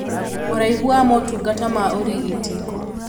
Ũraihu wa motungata ma ũrigiti